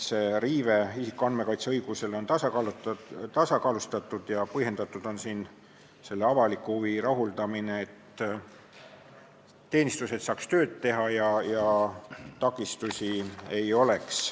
See isikuandmete kaitse õiguse riive on tasakaalustatud ja selle avaliku huvi rahuldamine on põhjendatud, selleks et teenistused saaks tööd teha ja neil takistusi ei oleks.